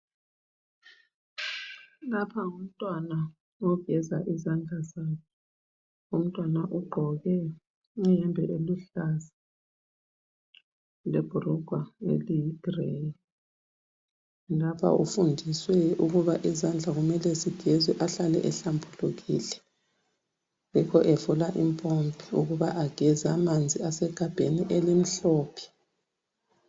Lapha ngumntwana ogeza izandla zakhe. Umntwana ugqoke iyembe eluhlaza, lebhurugwa eliye greyi. Lapha ufundiswe ukuba izandla kumele zigezwe ahlale ehlambulukile. Yikho evula impompi ukuba ageze. Amanzi asegabheni elimhlophe.